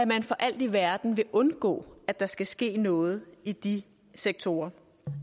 man for alt i verden vil undgå at der skal ske noget i de sektorer